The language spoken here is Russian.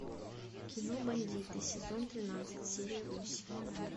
кино бандиты сезон тринадцать серия восемь